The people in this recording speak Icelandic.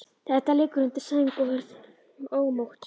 Edda liggur undir sæng og er ómótt.